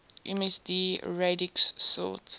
msd radix sort